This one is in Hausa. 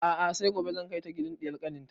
A'a sai gobe zan kai ta gidan ɗiyar kanin ta